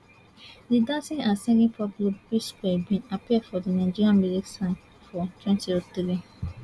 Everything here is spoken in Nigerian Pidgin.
di dancing and singing pop group psquare bin appear for di nigeria music scene for twenty oh three